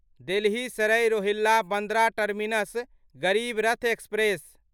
Delhi Sarai Rohilla Bandra terminus Garib Rath express